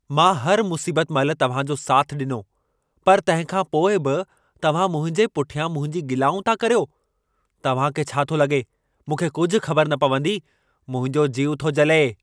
मां हर मुसीबत महिल तव्हां जो साथ ॾिनो, पर तंहिं खां पोइ बि तव्हां मुंहिंजे पुठियां मुंहिंजूं गिलाऊं था करियो। तव्हां खे छा थो लॻे, मूंखे कुझु ख़बर न पवंदी। मुंहिंजो जीउ थो जले।